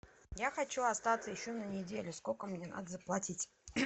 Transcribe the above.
я хочу остаться еще на неделю сколько мне надо заплатить